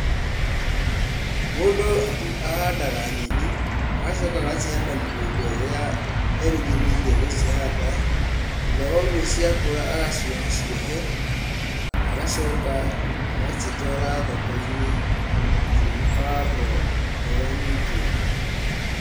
Mũndũ ahandaga nyeni, agacoka agacihanda mũgũnda ũrĩa erĩgĩrĩire gũcihanda, thutha wa ũguo cia kũra agacioha ciohe, na agacoka agacitwara thoko-inĩ, ciĩ ibango ngũrani ngũrani.